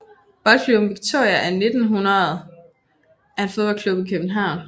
Boldklubben Viktoria af 1900 er en fodboldklub i København